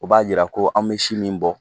U b'a jira ko an bɛ si min bɔ